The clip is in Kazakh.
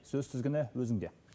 сөз тізгіні өзіңде